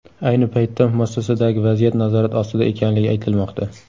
Ayni paytda muassasadagi vaziyat nazorat ostida ekanligi aytilmoqda.